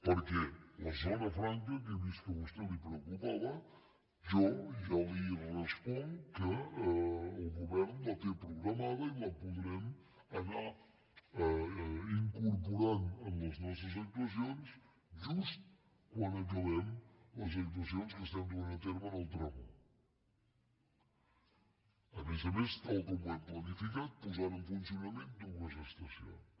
perquè la zona franca que he vist que a vostè la preocupava jo ja li responc que el govern la té programada i la podrem anar incorporant en les nostres actuacions just quan acabem les actuacions que estem duent a terme en el tram un a més a més tal com ho hem planificat posant en funcionament dues estacions